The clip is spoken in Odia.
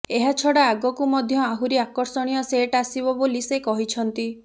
ଏହାଛଡ଼ା ଆଗକୁ ମଧ୍ୟ ଆହୁରି ଆକର୍ଷଣୀୟ ସେଟ୍ ଆସିବ ବୋଲି ସେ କହିଛନ୍ତି